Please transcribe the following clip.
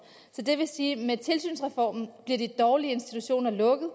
så det vil sige at med tilsynsreformen bliver de dårlige institutioner lukket